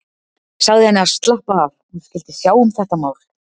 Sagði henni að slappa af, hún skyldi sjá um þetta mál.